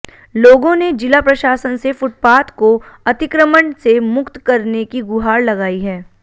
लोगों ने जिला प्रशासन से फुटपाथ को अतिक्रमण से मुक्त करने की गुहार लगाई है